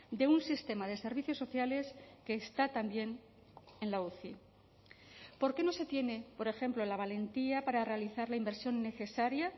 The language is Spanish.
de un sistema de servicios sociales que está también en la uci por qué no se tiene por ejemplo la valentía para realizar la inversión necesaria